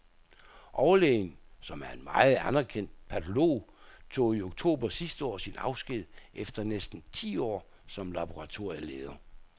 Overlægen, som er en meget anerkendt patolog, tog i oktober sidste år sin afsked efter næsten ti år som laboratorieleder.